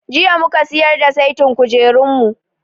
Jiya mu ka siyar da saitin kujerunmu.